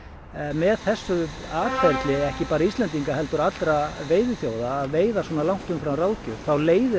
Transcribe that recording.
með þessu atferli ekki bara Íslendinga heldur allra veiðiþjóða að veiða svona langt umfram ráðgjöf þá leiðir